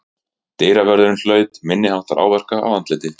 Dyravörðurinn hlaut minniháttar áverka á andliti